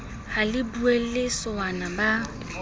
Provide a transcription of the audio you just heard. ha le boulelle sowana ba